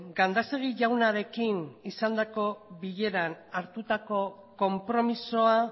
gandásegui jaunarekin izandako bileran hartutako konpromisoa